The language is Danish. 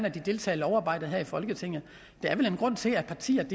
at de deltager i lovarbejdet her i folketinget der er vel en grund til at partierne